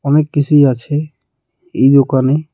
অনেক কিছুই আছে এই দোকানে।